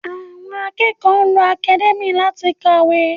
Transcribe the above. Àwọn akẹ́kọ̀ọ́ ń lo academia láti kàwé